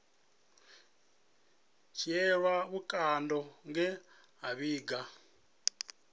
dzhielwa vhukando nge a vhiga